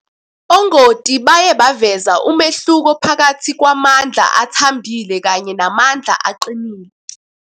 Ongoti baye baveza umehluko phakathi kwamandla athambile kanye namandla aqinile.